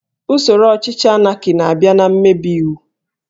Usoro ọchịchị Anaki na-abịa na mmebi iwu